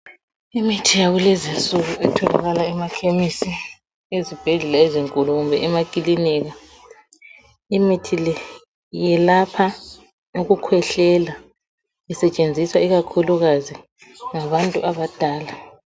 Imithi yakulezinsuku etholakala emakhemisi ezibhedlela ezinkulu kumbe emakilinika imithi le iyelapha Ukukhwehlea isetshenziswa ikakhulu kazi ngabantu abadala